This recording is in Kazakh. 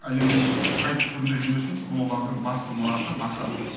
әлемнің қай түкпірінде жүрмесін бұл олардың басты мұраты мақсаты